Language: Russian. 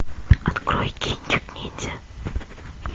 открой кинчик ниндзя